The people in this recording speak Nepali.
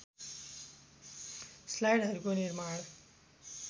स्लाइडहरूको निर्माण